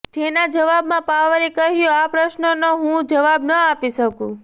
જેના જવાબમાં પવારે કહ્યું આ પ્રશ્નનો હું જવાબ ન આપી શકું